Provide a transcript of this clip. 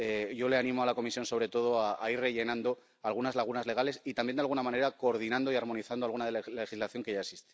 Yo le animo a la Comisión, sobre todo, a ir rellenando algunas lagunas legales y también, de alguna manera, a coordinar y armonizar alguna legislación que ya existe.